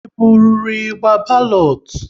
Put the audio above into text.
E burụrụ ịgba balotu?